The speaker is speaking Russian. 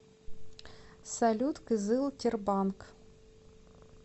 салют кызыл тербанк